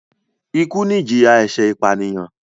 Ikú ni ìjìyà ẹ̀ṣẹ̀ ìpànìyàn